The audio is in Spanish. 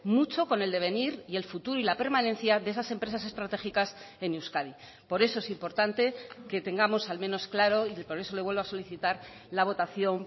mucho con el devenir y el futuro y la permanencia de esas empresas estratégicas en euskadi por eso es importante que tengamos al menos claro y por eso le vuelvo a solicitar la votación